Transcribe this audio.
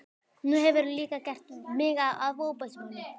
Nú hefurðu líka gert mig að ofbeldismanni.